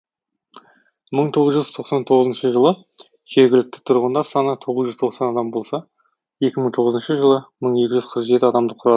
мың тоғыз жүз тоқсан тоғызыншы жылы жергілікті тұрғындар саны тоғыз жүз тоқсан адам болса екі мың тоғызыншы жылы мың екі жүз қырық жеті адамды құрады